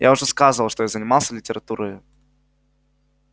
я уже сказывал что я занимался литературою